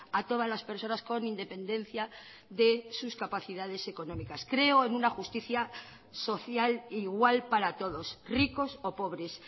a todas las personas con independencia de sus capacidades económicas creo en una justicia social igual para todos ricos o pobres